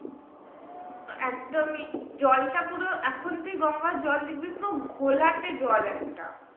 একদমই জলটা পুরো এখন তুই গঙ্গার জল দেখবি পুরো ঘোলাটে জল একটা